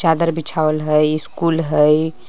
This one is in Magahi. चादर बिछवाल है स्कूल है।